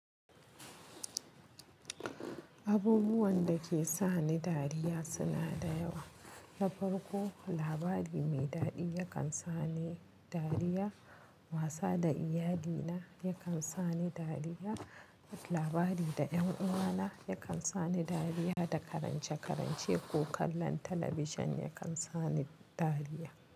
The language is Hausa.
Abubuwan da ke sani dariya suna da yawa. Na farko labari mai daɗi yakan sani dariya. Wasa da iyali na yakan sani dariya. Labari da ƴan uwa na yakan sani dariya da karance-karance ko kallon talabijin yakan sani dariya.